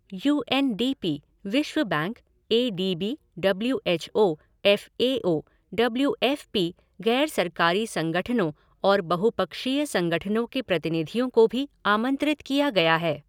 You N D P, विश्व bank, A D B, W H O, F A O, W F P, गैर सरकारी संगठनों और बहुपक्षीय संगठनों के प्रतिनिधियों को भी आमंत्रित किया गया है।